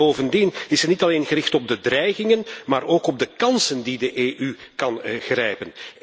Bovendien heeft u zich niet alleen gericht op de dreigingen, maar ook op de kansen die de EU kan grijpen.